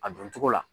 A don cogo la